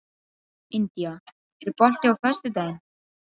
India, er bolti á föstudaginn?